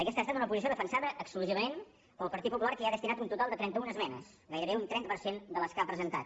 aquesta ha estat una posició defensada exclusivament pel partit popular que hi ha destinat un total de trenta una esmenes gairebé un trenta per cent de les que ha presentat